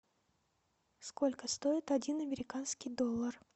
сколько стоит один американский доллар